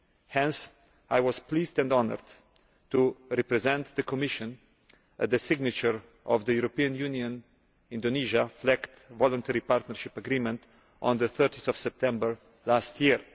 Hence I was pleased and honoured to represent the Commission at the signature of the European Union Indonesia FLEGT Voluntary Partnership Agreement on 30September last year.